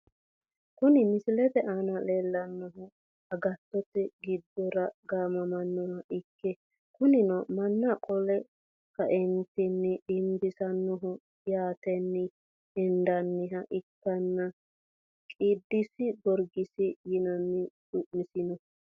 Kuni misilete aana leelanohu agattote gidora gaamamanoha ikke kunino mana qole kaeentini dinbisanoho yaateni hendaniha ikkanna qidusi gorgisi yinani su`masino.